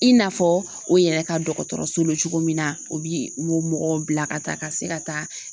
I n'a fɔ o yɛrɛ ka dɔgɔtɔrɔso bɛ cogo min na o bi o mɔgɔw bila ka taa ka se ka taa